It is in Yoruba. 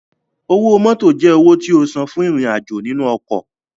Owó mótò jẹ́ owó tí o san fún ìrìn-àjò nínú ọkọ̀